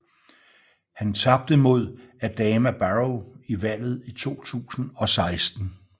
Han tabte mod Adama Barrow i valget i 2016